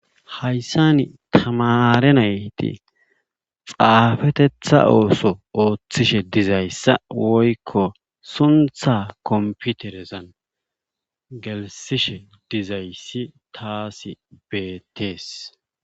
Hayssani tamaare nayti xaafetetha ooso oothishe dizayssa woykko suntha komppiterezan gelssishe dizayssi taasi beettees.